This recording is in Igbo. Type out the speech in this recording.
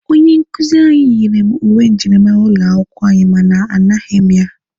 Onye nkuzi anyị nyere m uwe njirimara ụlọ akwụkwọ anyị mana a naghị m ya.